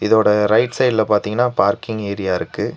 இதோட ரைட் சைடுல பாத்தீங்னா பார்க்கிங் ஏரியா இருக்கு.